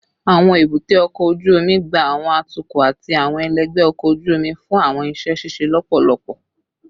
Awọn ebute oko oju omi gba awọn atukọ ati awọn ẹlẹgbẹ ọkọ oju omi fun awọn iṣẹ ṣiṣe lọpọlọpọ